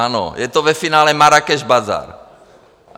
Ano, je to ve finále Marrákeš bazar.